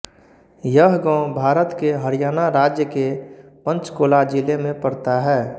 यह गाँव भारत के हरियाणा राज्य के पंचकुला जिले में पड़ता है